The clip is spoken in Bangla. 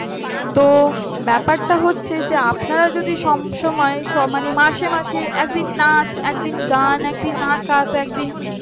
তোর ব্যাপারটা হচ্ছে আপনারা যদি সব সময় মানে মাসে মাসে একদিন একদিন না আছে একদিন গান একদিন নাচএত আহ একদিন